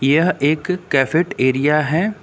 यह एक कैफिट एरिया है।